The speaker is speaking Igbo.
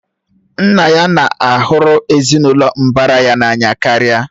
Nna ya na hụrụ ezinụlọ mbara ya n'anya karịa